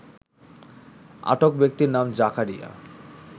আটক ব্যক্তির নাম জাকারিয়া